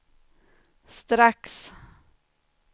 strax